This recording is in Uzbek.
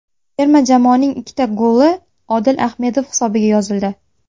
Terma jamoaning ikkita goli Odil Ahmedov hisobiga yozildi.